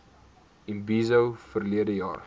imbizo verlede jaar